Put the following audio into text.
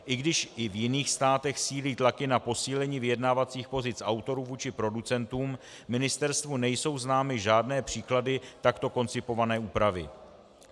I když i v jiných státech sílí tlaky na posílení vyjednávacích pozic autorů vůči producentům, ministerstvu nejsou známy žádné příklady takto koncipované úpravy.